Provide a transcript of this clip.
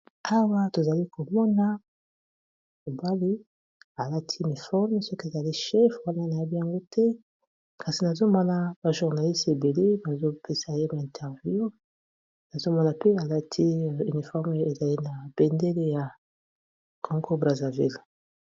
Awa tozali komona mobali alati uniforme soki azali chef wana nayebi yango te kasi nazomona ba journaliste ebele bazo pesa ye ba interview nazomona mpe alati uniforme ezali na bendele ya Congo Brazzaville.